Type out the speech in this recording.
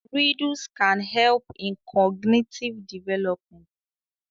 Riddles can help in cognitive development